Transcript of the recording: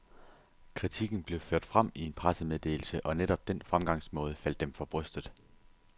Kritikken blev ført frem i en pressemeddelse, og netop den fremgangsmåde faldt dem for brystet.